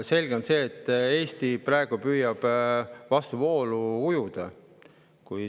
Selge on see, et Eesti püüab praegu vastuvoolu ujuda.